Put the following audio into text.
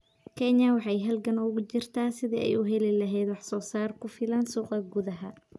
Kenya waxay halgan ugu jirtaa sidii ay u heli lahayd wax soo saar ku filan suuqa gudaha.